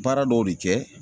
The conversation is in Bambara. Baara dɔw de kɛ